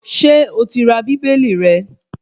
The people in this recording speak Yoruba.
Ṣé o ti ra Bíbélì rẹ